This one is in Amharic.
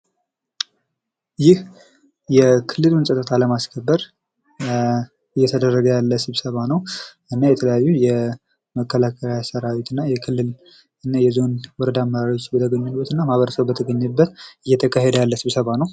ይህ የክልሉን ፀጥታ ለማስከበር ኧ እየተደረገ ያለዉ ስብሰባ ነው ።እና የተለያዩ የመከላከያ ሰራዊትና የክልል የዞንና ወረዳ አመራሮች ግብረ ግንኙነትና ማህረሰብ በተገኘበት እየተካሄደ ያለ ስብሰባ ነው።